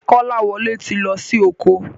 Kolawole tí lọ sì oko.